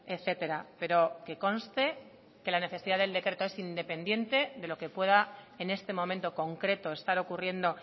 etcétera pero que conste que la necesidad del decreto es independiente de lo que pueda en este momento concreto estar ocurriendo